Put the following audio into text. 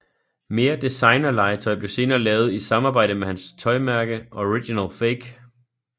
Mere designerlegetøj blev senere lavet i samarbejde med hans tøjmærke OriginalFake